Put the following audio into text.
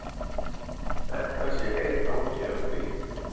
Þetta sé einn angi af því